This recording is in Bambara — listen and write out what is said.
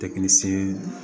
Tɛkisi